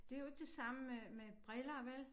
Det jo ikke det samme med briller vel